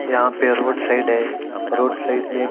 यहाँ पे road side है रोड साइड में--